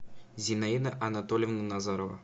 зинаида анатольевна назарова